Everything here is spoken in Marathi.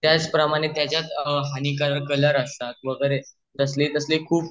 त्याच प्रमाणें त्याचात हाणी कारक कलर्स असतात वैगेरे कसले कसले खुप